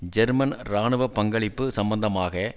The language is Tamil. ஜெர்மன் இராணுவ பங்களிப்பு சம்பந்தமாக